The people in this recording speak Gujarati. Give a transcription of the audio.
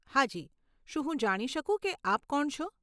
હાજી, શું હું જાણી શકું કે આપ કોણ છો?